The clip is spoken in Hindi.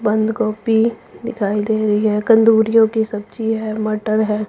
बंद गोभी दिखाई दे रही है कंदूरियों की सब्जी है मटर है।